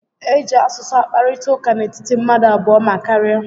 E ji asụsụ akparịta ụka n'etiti mmadụ abụọ ma karịa